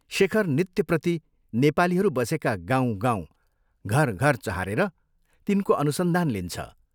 शेखर नित्यप्रति नेपालीहरू बसेका गाउँ, गाउँ, घर, घर चहारेर तिनको अनुसन्धान लिन्छ।